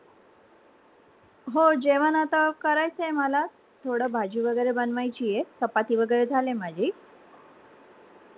हो, जेवण आता करायच मला थोड भाजी वगैरे बनवायची हे चपाती वगैरे झाले माझी